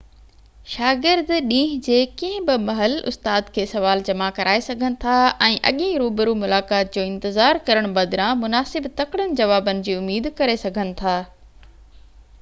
شاگرد ڏينهن جي ڪنهن بہ مهل استاد کي سوال جمع ڪرائي سگهن ٿا ۽ اڳين روبرو ملاقات جو انتظار ڪرڻ بدران مناسب تڪڙن جوابن جي اميد ڪري سگهن ٿا